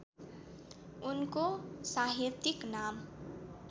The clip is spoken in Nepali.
उनको साहित्यिक नाम